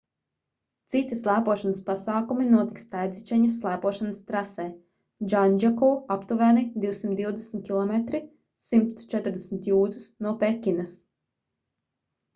citi slēpošanas pasākumi notiks taidzičeņas slēpošanas trasē džandzjakou aptuveni 220 km 140 jūdzes no pekinas